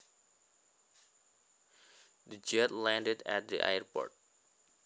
The jet landed at the airport